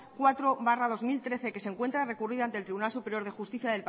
cuatro barra dos mil trece que se encuentra recurrida ante el tribunal superior de justicia